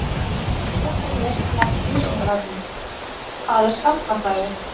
Frekara lesefni af Vísindavefnum: Hvað er skammtafræði?